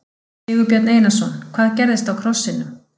Sigurbjörn Einarsson: Hvað gerðist á krossinum?